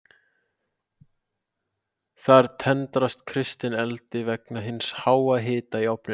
Þar tendrast kistan eldi vegna hins háa hita í ofninum.